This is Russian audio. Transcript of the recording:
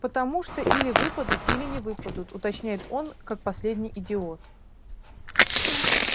потому что или выпадут или не выпадут уточняет он как последний идиот